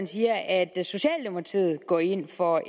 siger at socialdemokratiet går ind for